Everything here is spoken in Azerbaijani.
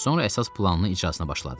Sonra əsas planının icrasına başladı.